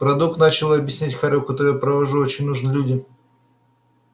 продукт начал объяснять хорёк который я произвожу очень нужен людям